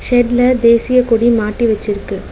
ஷெட்ல தேசிய கொடி மாட்டி வச்சிருக்கு.